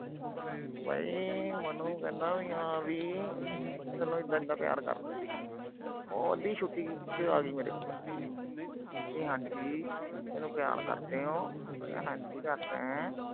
ਬਈ ਮੈਨੂੰ ਕਹਿੰਦਾ ਵੀ ਹਾਂ ਬਈ। ਤੈਨੂੰ ਇਦਾਂ ਇਦਾਂ ਪਿਆਰ ਕਰਦਾ। ਉਹ ਅੱਧੀ ਛੁੱਟੀ ਚ ਆ ਗਈ ਮੇਰੇ ਕੋਲ। ਵੀ ਹਾਂ ਜੀ, ਮੈਨੂੰ ਪਿਆਰ ਕਰਦੇ ਓ। ਮੈਂ ਕਿਹਾ ਹਾਂ ਜੀ ਕਰਦਾ।